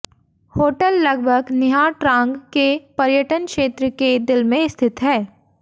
hotel लगभग Nha Trang के पर्यटन क्षेत्र के दिल में स्थित है